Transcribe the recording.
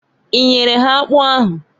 I nyere ha akpụ ahụ?